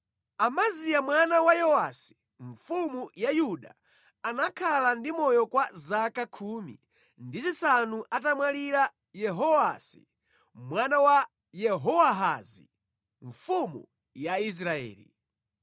Amaziya mwana wa Yowasi mfumu ya Yuda anakhala ndi moyo kwa zaka khumi ndi zisanu atamwalira Yehowasi mwana wa Yehowahazi mfumu ya Israeli.